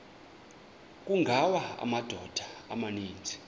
kungawa amadoda amaninzi